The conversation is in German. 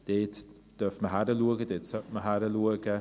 Dort dürfte man hinschauen, dort sollte man hinschauen.